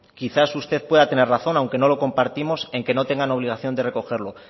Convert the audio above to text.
quizá usted pueda tener razón aunque no lo compartimos en que no tengan obligación de recogerlo